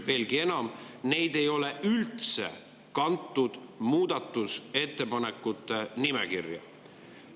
Veelgi enam, neid ei ole üldse kantud muudatusettepanekute nimekirja.